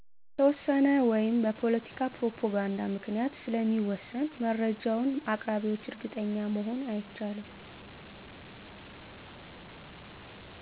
በተወሰነ ወይም በፖለቲካ ፕሮፓጋንዳ ምክንያት ስለሚወስን መረጃውን አቅራቢዎች እርግጠኛ መሆን አይቻልም።